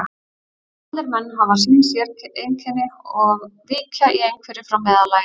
Allir menn hafa sín séreinkenni og víkja í einhverju frá meðallaginu.